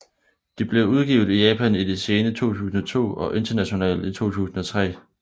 De blev udgivet i Japan i det sene 2002 og internationalt i 2003